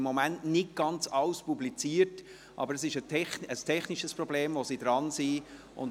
Im Moment wird nicht ganz alles publiziert, aber es ist ein technisches Problem, an dem sie arbeiten.